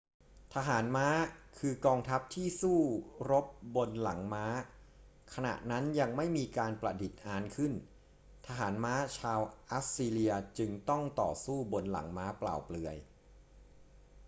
ทหารม้าคือกองทัพที่สู้รบบนหลังม้า ขณะนั้นยังไม่มีการประดิษฐ์อานขึ้น ทหารม้าชาวอัสซีเรียจึงต้องต่อสู้บนหลังม้าเปล่าเปลือย